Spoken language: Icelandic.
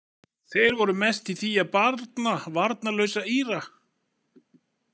Þeir voru mest í því að barna varnarlausa Íra.